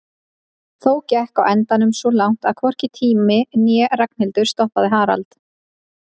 Þó gekk á endanum svo langt að hvorki tími né Ragnhildur stoppaði Harald.